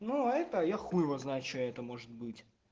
ну это я хуй его знает что это может быть